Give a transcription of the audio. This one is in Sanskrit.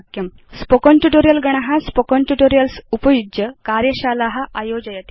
स्पोकेन ट्यूटोरियल् गण स्पोकेन ट्यूटोरियल्स् उपयुज्य कार्यशाला आयोजयति